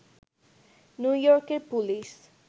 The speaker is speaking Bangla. নিউ ইয়র্কের পুলিশ